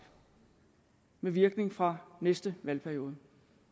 med virkning fra næste valgperiode